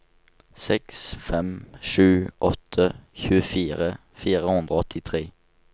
seks fem sju åtte tjuefire fire hundre og åttitre